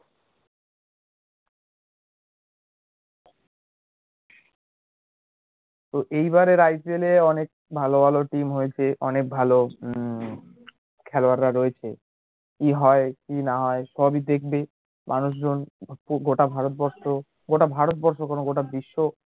তো এইবারের IPL এ ভালো ভালো team হইসে অনেক ভালো উম খেলোয়াড় রা রয়েছে কি হয় কি না হয় সবই দেখবে মানুষজন গোটা ভারতবর্ষ গোটা ভারতবর্ষ কেন গোটা বিশ্ব